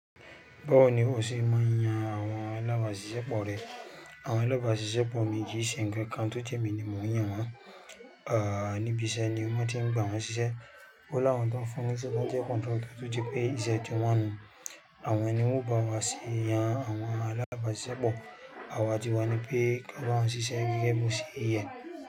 Báwo ni ọ se máa n yan àwọn alábàáṣiṣẹ́ pọ̀ rẹ? Àwọn alábàáṣiṣẹ́ pọ̀ mi kìí ṣe ńnkan kan tó je emí ní mọ̀ n yan wọn. Nibi iṣẹ́ ni wọ́n ti ń gba wọn ṣiṣẹ́. Ó láwọn tó ń fúnni niṣẹ tó jẹ́ contractor tó jẹ́ pé ìṣe ti wọn ni. Àwọn ẹni wọn o bá wá sì yan àwọn alábàáṣiṣẹ́ pọ̀. Àwa ti wani pé kí a bá wọn ṣiṣẹ́ gẹ́gẹ́ bí òṣe yẹ.